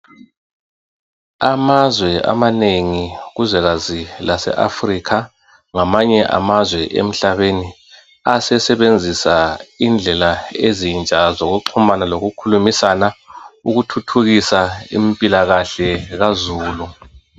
Amazwe amanengi kuzwekazi lase Africa ngamanye amazwe emhlabeni asesebenzisa indlela ezintsha zokuxhumana lokukhulumisana ukuthuthukisa impilakahle kazulu.